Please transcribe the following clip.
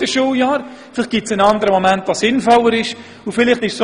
Vielleicht gibt es einen anderen Moment, der sinnvoller wäre.